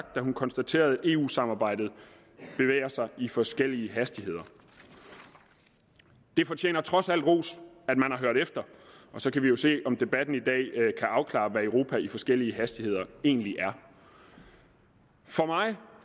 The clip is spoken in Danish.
da hun konstaterede at eu samarbejdet bevæger sig i forskellige hastigheder det fortjener trods alt ros at man har hørt efter og så kan vi jo se om debatten i dag kan afklare hvad et europa i forskellige hastigheder egentlig er for mig